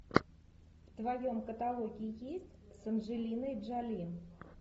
в твоем каталоге есть с анджелиной джоли